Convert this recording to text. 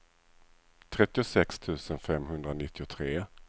trettiosex tusen femhundranittiotre